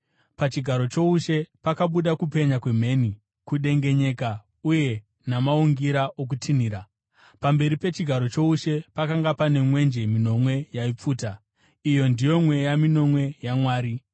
Pachigaro choushe pakabuda kupenya kwemheni, kudengenyeka uye namaungira okutinhira. Pamberi pechigaro choushe, pakanga pane mwenje minomwe yaipfuta. Iyi ndiyo mweya minomwe yaMwari.